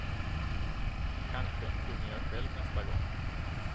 Kanske sjunger jag själv nästa gång.